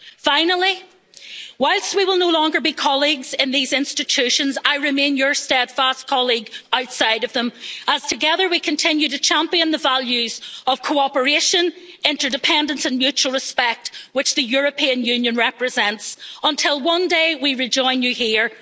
Finally, whilst we will no longer be colleagues in these institutions, I remain your steadfast colleague outside of them, as together we continue to champion the values of cooperation, interdependence and mutual respect which the European Union represents, until one day we rejoin you